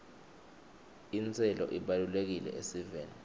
intselo ibalulekile esiveni